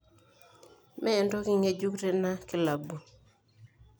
Mee entoki ngejuk tena kilabu.